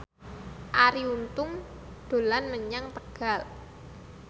Arie Untung dolan menyang Tegal